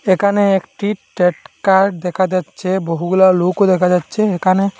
এখানে একটি ট্যাটকার দেখা যাচ্ছে বহুগুলা লোকও দেখা যাচ্ছে এখানে।